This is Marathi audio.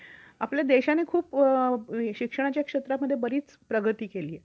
आपल्या देशाने खूप शिक्षणाच्या क्षेत्रामध्ये बरीच प्रगती केलीये.